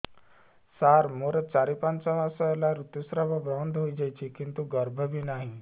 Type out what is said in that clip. ସାର ମୋର ଚାରି ପାଞ୍ଚ ମାସ ହେଲା ଋତୁସ୍ରାବ ବନ୍ଦ ହେଇଯାଇଛି କିନ୍ତୁ ଗର୍ଭ ବି ନାହିଁ